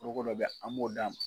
Togo dɔ be an b'o d'a ma